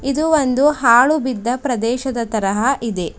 ಇದು ಒಂದು ಹಾಳು ಬಿದ್ದ ಪ್ರದೇಶದ ತರ ಇದೆ.